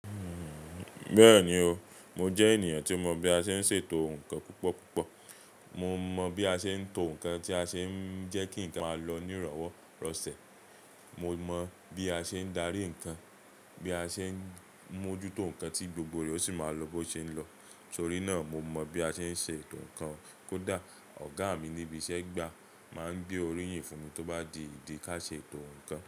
Bẹ́ẹ̀ni o, mo jẹ́ ènìyàn tí mọ̀ bí a ṣe ń ṣètò nǹkan púpọ̀ púpọ̀. Mo mọ̀ bí a ṣe ń to nǹkan tí ó ṣe ń jẹ́ kí nǹkan máa lọ nírọ̀wọ́ rọ́sẹ̀. Mo mọ̀ bí a ṣe ń darí nǹkan, bí a ṣe ń mójútó nǹkan tí gbogbo re o sì máa lọ bó ṣe ń lọ. Torí náà, mo mọ̀ bí a ṣe ń ṣe ètò nǹkan. Kódà ọ̀gá mi níbi iṣẹ́ gbà máa ń gbé oríyìn fún mi tó bá di ìdí ká ṣe ètò nǹkan.